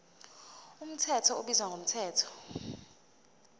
mthetho ubizwa ngomthetho